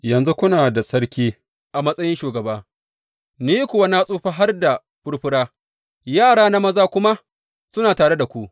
Yanzu kuna da sarki a matsayin shugaba, ni kuwa na tsufa har da furfura, yarana maza kuma suna tare da ku.